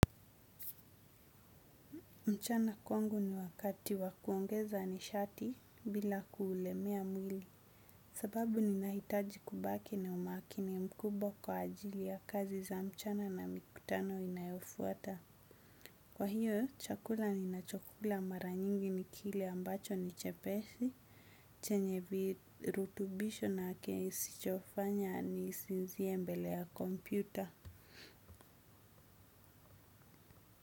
Mchana kwangu ni wakati wa kuongeza nishati bila kuulemea mwili. Sababu ninahitaji kubaki ni umakini mkubwa kwa ajili ya kazi za mchana na mikutano inayofuata. Kwa hiyo, chakula ninachokula mara nyingi ni kile ambacho ni chepesi. Chenye virutubisho na kenye isichofanya nisinzie mbele ya kompyuta.